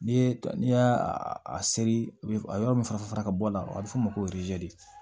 N'i ye n'i y'a a seri u bɛ a yɔrɔ min fara fara ka bɔ a la a bɛ f'o ma ko